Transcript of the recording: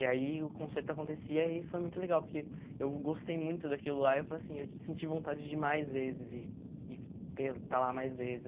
E aí o concerto acontecia e foi muito legal, porque eu gostei muito daquilo lá eu falei assim eu senti vontade de ir mais vezes e e ter estar lá mais vezes.